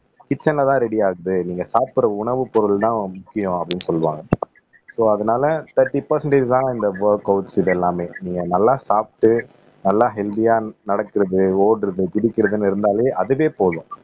கிட்சன்லதான் ரெடிஆகுது நீங்க சாப்பிடற உணவுப் பொருள்தான் முக்கியம் அப்படின்னு சொல்லுவாங்க சோ அதனால தேர்ட்டி பெர்ஸண்டாஜ் தான் இந்த ஒர்கவுட்ஸ் இது எல்லாமே நீங்க நல்லா சாப்பிட்டு நல்லா ஹெல்த்தியா நடக்கிறது ஓடுறது பிடிக்கிறதுன்னு இருந்தாலே அதுவே போதும்